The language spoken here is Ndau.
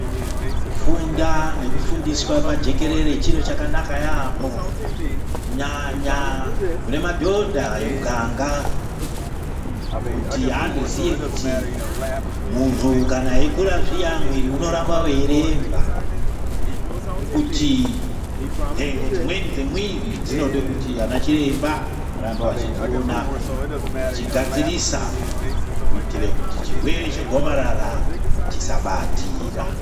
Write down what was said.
Kufunda nekufundiswa pajekerere chiro chakanaka yamho kunyanya kune madhodha emuganga kuti andoziye kuti munhu kana eikura zviya mwiri unotamba weiremba nekuti nhengo dzimweni dzemwiri dzinode kuti ana chiremba varambe vachidziona vachigadzirosa kuitira kuti chirwere chegomarara chisabatira.